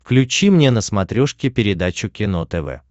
включи мне на смотрешке передачу кино тв